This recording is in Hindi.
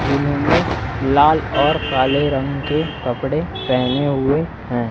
जिन्होंने लाल और काले रंग के कपड़े पहने हुए हैं।